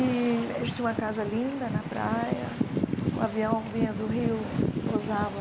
E a gente tinha uma casa linda na praia, o avião vinha do rio, pousava